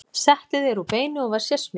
Settið er úr beini og var sérsmíðað.